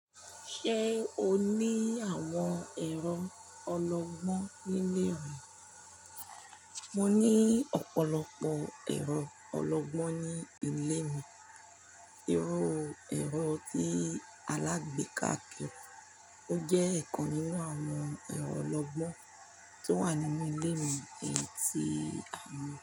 Ṣé o ní àwọn ẹ̀rọ ọlọgbọ́n nílé rẹ? Mo ní ọ̀pọ̀lọpọ̀ ẹ̀rọ ọlọgbọ́n ní ilé mi. Irú ẹ̀rọ tí alágbèéká kì í, ó jẹ́ ikan nínú àwọn ẹ̀rọ ọlọgbọ́n tí ó wà nínú ilé mi, èyí tí a mọ̀